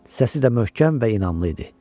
Səsi də möhkəm və inamlı idi.